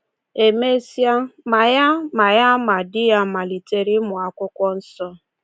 E mesịa, ma ya ma ya ma di ya malitere ịmụ Akwụkwọ Nsọ.